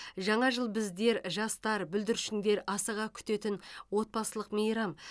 жаңа жыл біздер жастар бүлдіршіндер асыға күтетін отбасылық мейрам